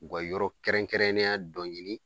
U ka yɔrɔkɛrɛnkɛrɛnnenya dɔ ɲini